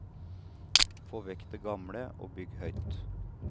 Få vekk det gamle og bygg høyt.